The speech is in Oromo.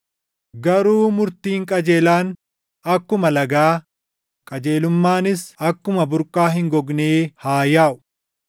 Garuu murtiin qajeelaan akkuma lagaa, qajeelummaanis akkuma burqaa hin gognee haa yaaʼu!